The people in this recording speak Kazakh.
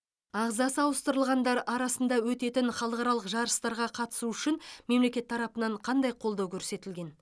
ағзасы ауыстырылғандар арасында өтетін халықаралық жарыстарға қатысу үшін мемлекет тарапынан қандай қолдау көрсетілген